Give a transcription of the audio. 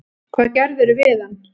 Hvað gerðirðu við hann!